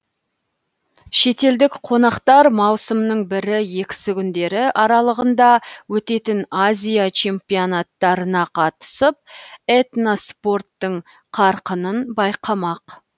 шетелдік қонақтар маусымның бірі екісі күндері аралығында өтетін азия чемпионаттарына қатысып этноспорттың қарқынын байқамақ